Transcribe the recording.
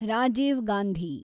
Rajiv Gandhi